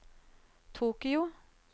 Tokyo